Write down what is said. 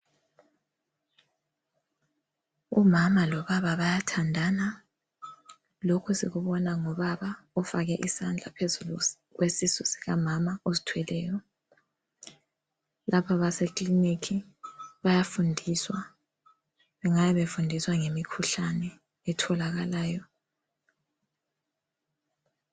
Umama lobaba bayathandana lokhu sikubona ngobaba ofake isandla phezulu kwesisu sikamama ozithweleyo. Lapha baseclinic bayafundiswa. Bengabe befundiswa ngemikhuhlane etholakalayo.